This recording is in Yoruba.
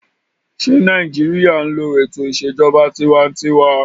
Ṣé Nàìjíríyà n lo ètò ìṣèjọba tinwatinwa?